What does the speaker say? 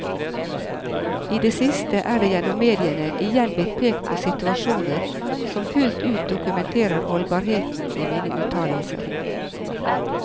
I det siste er det gjennom mediene igjen blitt pekt på situasjoner som fullt ut dokumenterer holdbarheten i mine uttalelser.